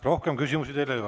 Rohkem küsimusi teile ei ole.